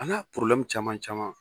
A n'a caman caman